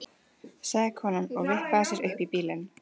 sagði konan og vippaði sér upp í bílinn.